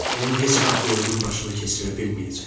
Onu heç vaxt qoyunun başına keçirə bilməyəcək.